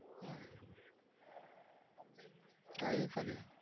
હમ હા એ ખરી